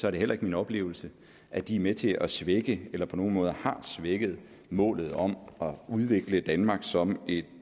er det heller ikke min oplevelse at de er med til at svække eller på nogen måde har svækket målet om at udvikle danmark som et